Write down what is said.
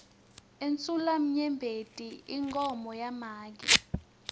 insulamnyembeti inkhomo yamake